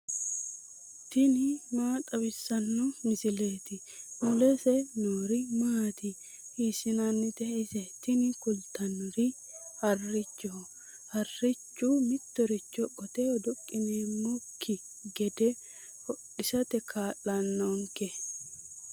tini maa xawissanno misileeti ? mulese noori maati ? hiissinannite ise ? tini kultannori harrichoho. harrichu mittoricho qoteho duqqineemmokki gede hodhisate kaa'lannonke.